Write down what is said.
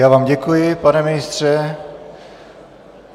Já vám děkuji, pane ministře.